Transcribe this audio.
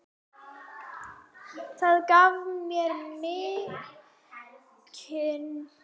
Það gaf mér mikinn styrk.